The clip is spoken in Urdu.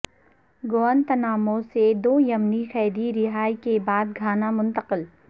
گوانتانامو سے دو یمنی قیدی رہائی کے بعد گھانا منتقل